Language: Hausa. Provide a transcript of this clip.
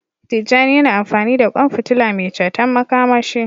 Tijjani yana amfani da kwan fitila mai ceton makamashi.